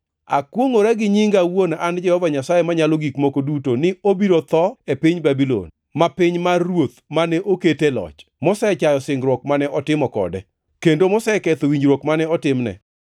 “ ‘Akwongʼora gi nyinga awuon an Jehova Nyasaye Manyalo Gik Moko Duto ni obiro tho e piny Babulon, ma piny mar ruoth mane okete e loch, mosechayo singruok mane otimo kode, kendo moseketho winjruok mane otimne.